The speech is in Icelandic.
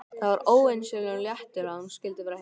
Það var ósegjanlegur léttir að hún skyldi vera heima.